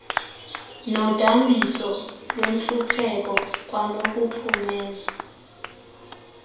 nodambiso lwentlupheko kwanokuphumeza